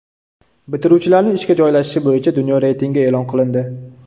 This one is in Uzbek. Bitiruvchilarning ishga joylashishi bo‘yicha dunyo reytingi e’lon qilindi.